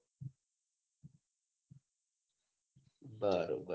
બરોબર